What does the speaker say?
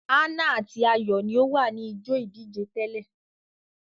Ana ati Ayo ní o wá ni ijó ìdíje tẹlẹ.